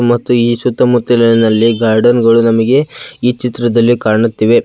ಮತ್ತು ಈ ಸುತ್ತಮುತ್ತಲಿನಲ್ಲಿ ಗಾರ್ಡೆನ್ ಗಳು ನಮಿಗೆ ಈ ಚಿತ್ರದಲ್ಲಿ ಕಾಣುತ್ತಿವೆ.